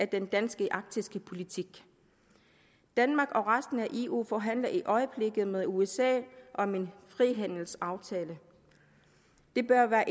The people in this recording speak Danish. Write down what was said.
den danske arktiske politik danmark og resten af eu forhandler i øjeblikket med usa om en frihandelsaftale det bør være